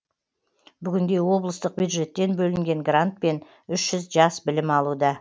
бүгінде облыстық бюджеттен бөлінген грантпен үш жүз жас білім алуда